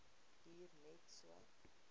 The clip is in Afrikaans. duur net so